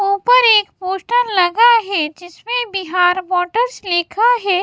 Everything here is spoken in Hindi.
ऊपर एक पोस्टर लगा है जिसमें बिहार वाटर्स लिखा है।